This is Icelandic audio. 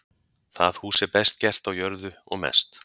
það hús er best gert á jörðu og mest